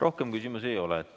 Rohkem küsimusi ei ole.